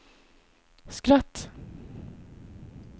skratt